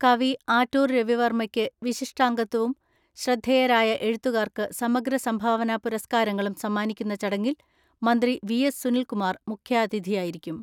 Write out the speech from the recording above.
കവി ആറ്റൂർ രവിവർമ്മയ്ക്ക് വിശിഷ്ടാംഗത്വവും ശ്രദ്ധേയരായ എഴുത്തുകാർക്ക് സമഗ്ര സംഭാവനാ പുരസ്കാരങ്ങളും സമ്മാനിക്കുന്ന ചടങ്ങിൽ മന്ത്രി വി എസ് സുനിൽകുമാർ മുഖ്യാതിഥിയായിരിക്കും.